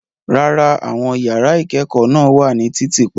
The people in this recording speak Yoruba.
Rárá, àwọn yàrá ìkẹ́kọ̀ọ́ náà wà ní títì pa.